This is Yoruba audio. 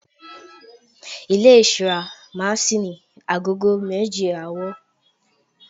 ilé ìṣura ma sí ní agogo méje àárò